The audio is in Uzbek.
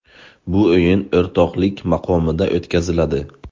Bu o‘yin o‘rtoqlik maqomida o‘tkaziladi.